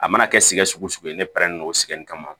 A mana kɛ sigiga ne pɛrɛnnen don sɛgɛn kama